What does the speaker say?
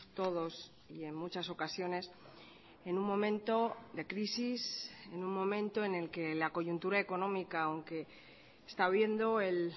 todos y en muchas ocasiones en un momento de crisis en un momento en el que la coyuntura económica aunque está viendo el